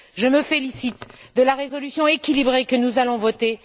Je me félicite de la résolution équilibrée que nous allons voter.